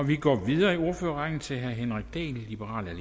vi går videre i ordførerrækken til herre henrik dahl liberal